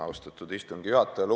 Austatud istungi juhataja!